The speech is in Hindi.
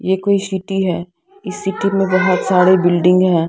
ये कोई सिटी इस सिटी मे बहुत सारी बिल्डिंग है।